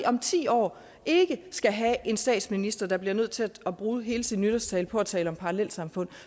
om ti år skal have en statsminister der bliver nødt til at bruge hele sin nytårstale på at tale om parallelsamfund